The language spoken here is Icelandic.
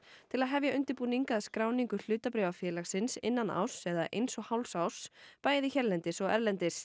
til að hefja undirbúning að skráningu hlutabréfa félagsins innan árs eða eins og hálfs árs bæði hérlendis og erlendis